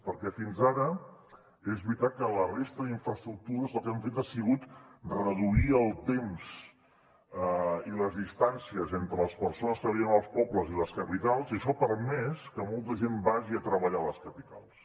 perquè fins ara és veritat que la resta d’infraestructures el que han fet ha sigut reduir el temps i les distàncies entre les persones que viuen als pobles i les capitals i això ha permès que molta gent vagi a treballar a les capitals